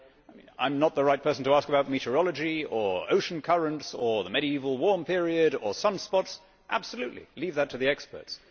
I am not the right person to ask about meteorology or ocean currents or the Medieval Warm Period or sunspots absolutely, leave that to the experts.